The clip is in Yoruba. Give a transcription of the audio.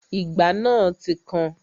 Ìgbá náà ti kan